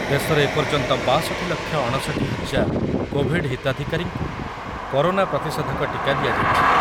ଦେଶରେ ଏପର୍ଯ୍ୟନ୍ତ ବାଷଠି ଲକ୍ଷ ଅଣଷଠି ହଜାର କୋଭିଡ଼୍ ହିତାଧିକାରୀଙ୍କୁ କରୋନା ପ୍ରତିଷେଧକ ଟିକା ଦିଆଯାଇଛି।